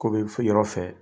Ko bi fi yɔrɔ fɛ